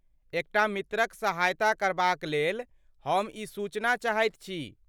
एकटा मित्रक सहायता करबाक लेल हम ई सूचना चाहैत छी।